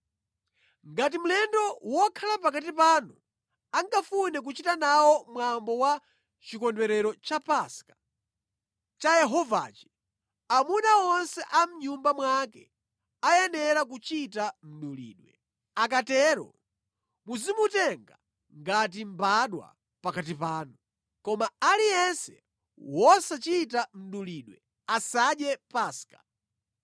“Ngati mlendo wokhala pakati panu angafune kuchita nawo mwambo wa chikondwerero cha Paska, cha Yehovachi, amuna onse a mʼnyumba mwake ayenera kuchita mdulidwe. Akatero muzimutenga ngati mbadwa pakati panu. Koma aliyense wosachita mdulidwe asadye Paska.